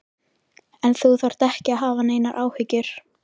En þú þarft ekki að hafa neinar áhyggjur.